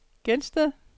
Gelsted